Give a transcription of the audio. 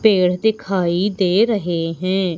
पेड़ दिखाई दे रहे हैं।